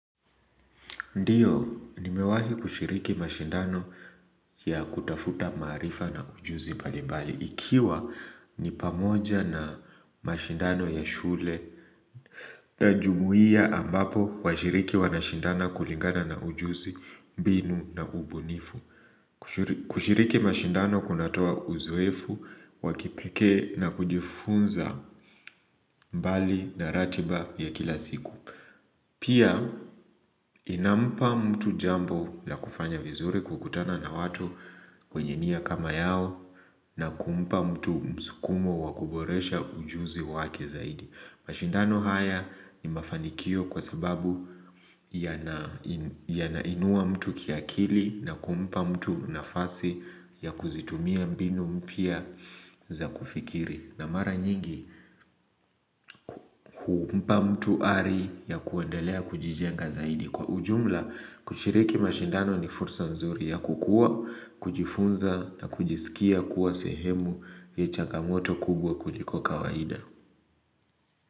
Ndiyo, nimewahi kushiriki mashindano ya kutafuta maarifa na ujuzi mbalimbali ikiwa ni pamoja na mashindano ya shule na jumuia ambapo washiriki wanashindana kulingana na ujuzi, mbinu na ubunifu kushiriki mashindano kunatoa uzoefu wa kipikee na kujifunza mbali na ratiba ya kila siku. Pia inampa mtu jambo la kufanya vizuri kukutana na watu kwenye niya kama yao na kumpa mtu msukumo wa kuboresha ujuzi wake zaidi. Mashindano haya ni mafanikio kwa sababu yanainua mtu kiakili na kumpa mtu nafasi ya kuzitumia mbinu mpya za kufikiri. Na mara nyingi humpa mtu ari ya kuendalea kujijenga zaidi. Kwa ujumla, kushiriki mashindano ni fursa mzuri ya kukua, kujifunza na kujisikia kuwa sehemu changamoto kubwa kuliko kawaida.